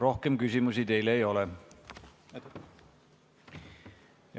Rohkem küsimusi teile ei ole.